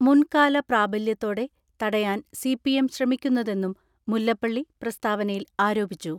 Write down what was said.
മുൻകാല പ്രാബല്യത്തോടെ തടയാൻ സിപിഎം ശ്രമിക്കുന്നതെന്നും മുല്ലപ്പള്ളി പ്രസ്താവനയിൽ ആരോപിച്ചു.